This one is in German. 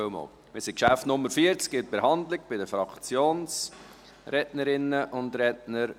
Wir sind bei der Behandlung des Geschäfts Nr. 40, bei den Fraktionssprecherinnen und Fraktionssprechern.